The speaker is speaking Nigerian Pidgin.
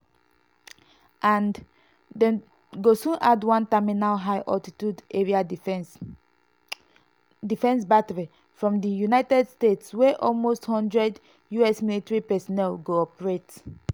and dem go soon add one terminal high altitude area defence (thaad) battery from di united states wey almost one hundred us military personnel go operate.